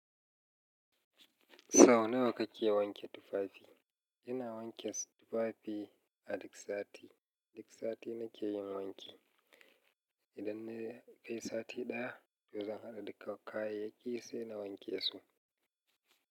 Sau nawa kake wanke tufafi? Ina wanke tufafi a duk sati. Duk sati nake yin wanki. Idan na kai sati ɗaya, yanzu zan haɗa dukkan kayayyaki sai na wanke su.